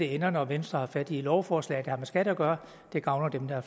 ender når venstre har fat i et lovforslag der har med skat at gøre det gavner dem der